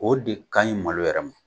O de ka ɲi malo wɛrɛ ma.